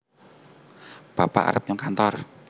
bapak arep nyang kantor